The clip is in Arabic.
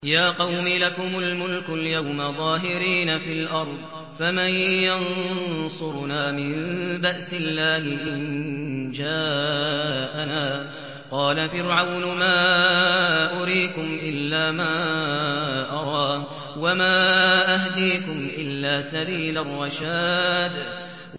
يَا قَوْمِ لَكُمُ الْمُلْكُ الْيَوْمَ ظَاهِرِينَ فِي الْأَرْضِ فَمَن يَنصُرُنَا مِن بَأْسِ اللَّهِ إِن جَاءَنَا ۚ قَالَ فِرْعَوْنُ مَا أُرِيكُمْ إِلَّا مَا أَرَىٰ وَمَا أَهْدِيكُمْ إِلَّا سَبِيلَ الرَّشَادِ